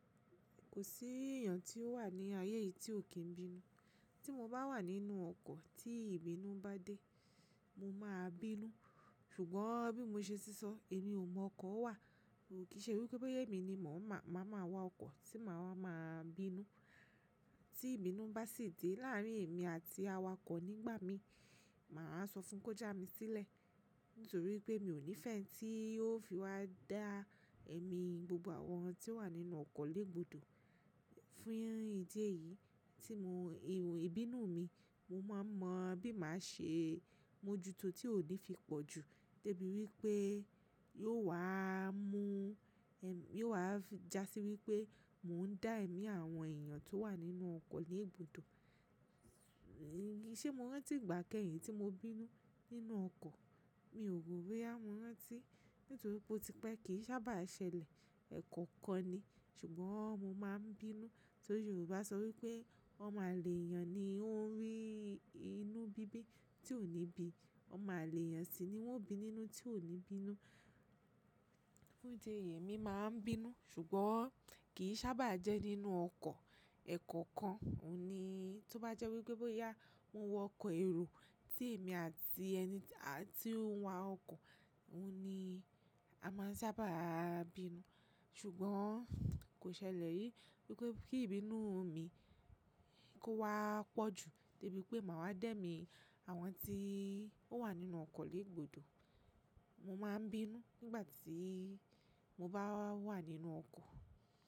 Kò sí èèyàn tí ó wà ní ayé yìí tí ò kí n bínú. Tí mo bá wà nínú ọkọ̀ tí ìbínú bá dé, mo máa bínú. Ṣùgbọ́n bí mo ṣe sísọ èmi ò mọ ọkọ̀ wà, ò kí í ṣe wípé boya èmi ni mò ń má, má ma wọ ọkọ̀ tí màá ma bínú. Tí ìbínú bá sì dé láàrin èmi àti awakọ̀ nígbà mi, màá sọ fún un kó já mi sílẹ̀ nítorí pé mi ò nífẹ̀ẹ́ ẹni tí yóò fi wá dá èmi gbogbo àwọn tí ó wà nínú ọkọ̀ lé gbòdo. Fún ìdí èyí tí mò ń ìbínú mi, mo máa mọ bí màá ṣe mojuto tí ò ní fi pọ̀ jù, de bí wípé yóò wà á mú èmí, yóò wà á jásí wípé mò ń dá èmi àwọn èèyàn tó wà nínú ọkọ̀ lé gbòdo. Ṣé mo rántí ìgbà kẹ́yìn tí mo bínú nínú ọkọ̀? Mi ò rò wí pé á mo rántí nítorí pé ó ti pẹ́ kì í sábà ṣẹlẹ̀ ẹ̀ẹ̀kọ̀kan ni. Ṣùgbọ́n mo máa n bínú torí Yorùbá sọ wípé ọmọ àlè èèyàn ni ó ń rí inú bíbí tí ò ní bí, ọmọ àlè èèyàn sì ni wọ́n o bí nínú tí ò ní bínú. Fún ìdí èyí èmi máa ń bínú ṣùgbọ́n kì í sábà jẹ́ nínú ọkọ̀ ẹ̀ẹ̀koọ̀kan. Ó ní tó bá jẹ́ wípé boyá mo wọ ọkọ̀ èrò tí èmi àti ẹni tí ó ń wa ọkọ̀, òun ni a máa sábà bínú. Ṣùgbọ́n kò ṣẹlẹ̀ rìí wípé kí ìbínú mi kó wá pọ̀ jù debí pé màá wá dẹ́mi àwọn tí ó wà nínú ọkọ̀ lé gbòdo. Mo máa n bínú nígbà tí mo bá wà nínú ọkọ̀.